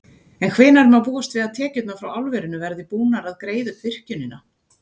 En hvenær má búast við að tekjurnar frá álverinu verði búnar að greiða upp virkjunina?